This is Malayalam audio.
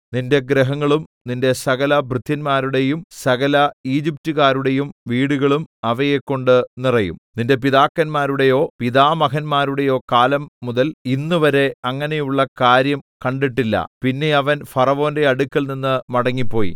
നിന്റെ ഗൃഹങ്ങളും നിന്റെ സകലഭൃത്യന്മാരുടെയും സകല ഈജിപ്റ്റുകാരുടെയും വീടുകളും അവയെക്കൊണ്ട് നിറയും നിന്റെ പിതാക്കന്മാരുടെയോ പിതാമഹന്മാരുടെയോ കാലം മുതൽ ഇന്നുവരെ അങ്ങനെയുള്ള കാര്യം കണ്ടിട്ടില്ല പിന്നെ അവൻ ഫറവോന്റെ അടുക്കൽനിന്ന് മടങ്ങിപ്പോയി